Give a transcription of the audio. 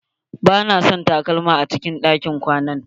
Ba na son takalma a cikin ɗakin kwana na.